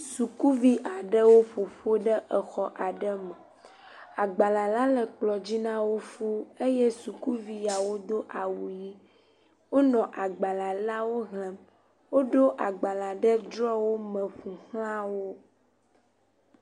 Sukuvi aɖewo ƒoƒu ɖe xɔ aɖe me agbalẽ la le kplɔdzi nawo fuu sukuviwo do awu ɣi wonɔ agbalẽ la wo xlem woɖo agbalẽ la ɖe drɔwo me ƒoxlawo